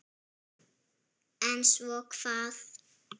En svo hvað?